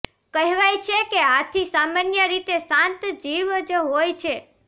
કહેવાય છે કે હાથી સામાન્ય રીતે શાંત જીવ જ હોય છે